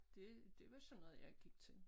Dét det var sådan noget jeg gik til